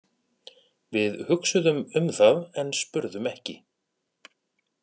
Við hugsuðum um það en spurðum ekki.